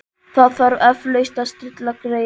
Það þarf eflaust að stilla greyið.